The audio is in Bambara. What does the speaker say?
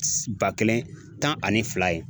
Ba kelen tan ani fila ye.